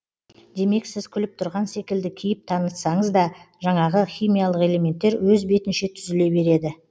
демек сіз күліп тұрған секілді кейіп танытсаңыз да жанағы химиялық элементтер өз бетінше түзіле береді